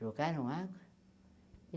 Jogaram água?